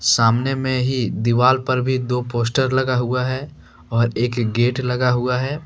सामने में ही दीवाल पर भी दो पोस्टर लगा हुआ है और एक गेट लगा हुआ है।